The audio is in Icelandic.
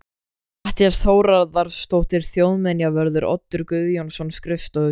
Matthías Þórðarson þjóðminjavörður, Oddur Guðjónsson, skrifstofustjóri